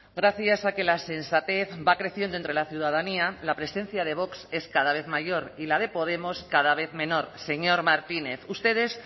gracias a que la sensatez va creciendo entre la ciudadanía la presencia de vox es cada vez mayor y la de podemos cada vez menor señor martínez ustedes